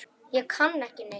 Ég kann ekki neitt.